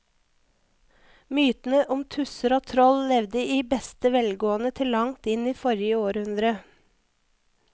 Mytene om tusser og troll levde i beste velgående til langt inn i forrige århundre.